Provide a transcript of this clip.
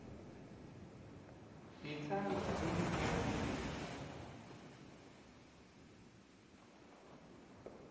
ngitsandza kunibonga ngekutsatsa